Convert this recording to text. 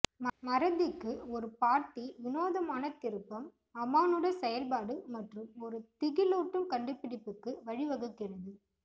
மறதிக்கு ஒரு பாட்டி விநோதமான திருப்பம் அமானுட செயல்பாடு மற்றும் ஒரு திகிலூட்டும் கண்டுபிடிப்புக்கு வழிவகுக்கிறது